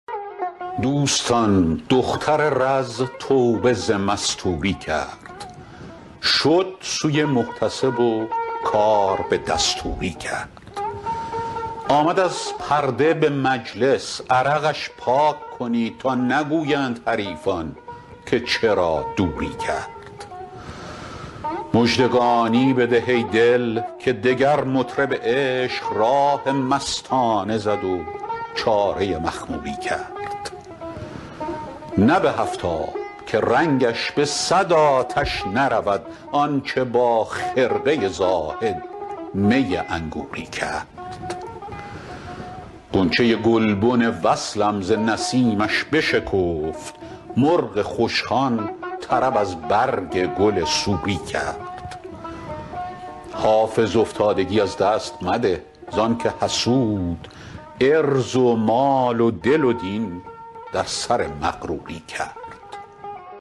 دوستان دختر رز توبه ز مستوری کرد شد سوی محتسب و کار به دستوری کرد آمد از پرده به مجلس عرقش پاک کنید تا نگویند حریفان که چرا دوری کرد مژدگانی بده ای دل که دگر مطرب عشق راه مستانه زد و چاره مخموری کرد نه به هفت آب که رنگش به صد آتش نرود آن چه با خرقه زاهد می انگوری کرد غنچه گلبن وصلم ز نسیمش بشکفت مرغ خوشخوان طرب از برگ گل سوری کرد حافظ افتادگی از دست مده زان که حسود عرض و مال و دل و دین در سر مغروری کرد